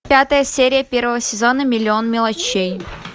пятая серия первого сезона миллион мелочей